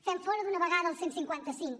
fem fora d’una vegada el cent i cinquanta cinc